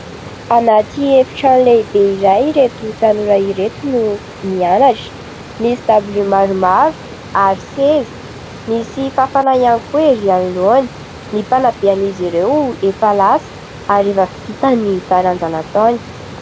Anaty efi-trano lehibe iray ireto tanora ireto no mianatra. Misy dabilio maromaro ary seza. Misy fafana ihany koa erỳ anoloana. Ny mpanabe an'izy ireo efa lasa ary efa vita ny taranja nataony.